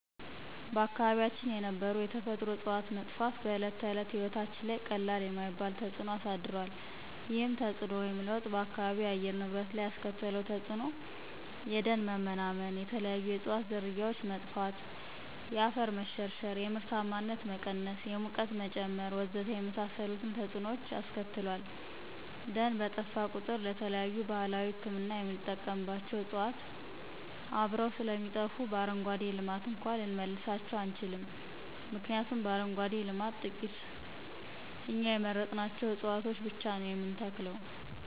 በአካባቢያችን የነበሩ የተፈጥሮ ዕፅዋት መጥፋት በዕለተ ተዕለት ሕይወታችን ላይ ቀላል የማይባል ተፅዕኖ አሳድሯል። ይህም ተፅዕኖ ወይም ለውጥ በአካባቢው የአየር ንብረት ላይ ያስከተለው ተፅዕኖ የደን መመናመን፣ የተለያዩ የዕፅዋት ዝርያዎች መጥፋት፣ የአፈር መሸርሸር፣ የምርታማነት መቀነስ፣ የሙቀት መጨመር ወዘተ የመሳሰሉትን ተፅዕኖዎች አስከትሏል። ደን በጠፋ ቁጥር ለተለያዩ ባህላዊ ህክምና የምንጠቀምባቸው ዕፅዋት አብረው ስለሚጠፉ በአረንጓዴ ልማት እንኳን ልንመልሳቸው አንችልም ምክንያቱም በአረንጓዴ ልማት ትቂት እኛ የመረጥናቸውን ዕፅዋቶች ብቻ ነው የምንተክለው።